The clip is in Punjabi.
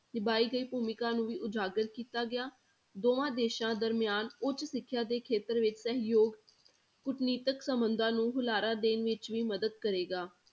ਨਿਭਾਈ ਗਈ ਭੂਮਿਕਾ ਨੂੰ ਵੀ ਉਜਾਗਰ ਕੀਤਾ ਗਿਆ, ਦੋਵਾਂ ਦੇਸਾਂ ਦਰਮਿਆਨ ਉੱਚ ਸਿੱਖਿਆ ਦੇ ਖੇਤਰ ਵਿੱਚ ਸਹਿਯੋਗ ਕੂਟਨੀਤਿਕ ਸੰਬੰਧਾਂ ਨੂੰ ਹੁਲਾਰਾ ਦੇਣ ਵਿੱਚ ਵੀ ਮਦਦ ਕਰੇਗਾ।